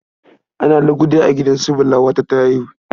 Ana lugude a gidan su Bala, wata ta haihu.